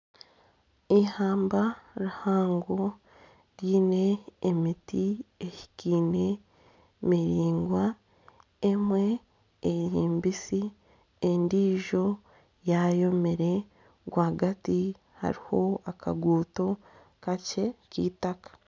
Ihamba rihango ryine emiti ehikiine, miringwa. Emwe nimibisi, endijo yayomire. Rwagati hariho akaguuto kakye k'itaka.